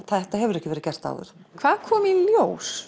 þetta hefur ekki verið gert áður hvað kom í ljós